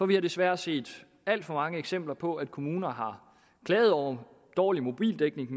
vi har desværre set alt for mange eksempler på at kommuner har klaget over dårlig mobildækning